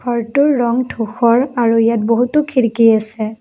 ঘৰটোৰ ৰং ধূসৰ আৰু ইয়াত বহুতো খিৰিকী আছে।